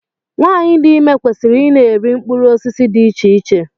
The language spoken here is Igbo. Nwaanyị dị ime kwesịrị ị na-eri mkpụrụ osisi dị iche iche.